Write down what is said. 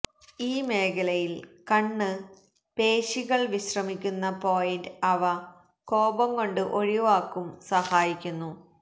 ഈ മേഖലയിൽ കണ്ണ് പേശികൾ വിശ്രമിക്കുന്ന പോയിന്റ് അവ കോപംകൊണ്ടു ഒഴിവാക്കും സഹായിക്കുന്നു